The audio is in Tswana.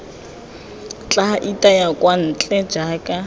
tla itaya kwa ntle jaaka